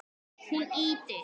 Hún ýtir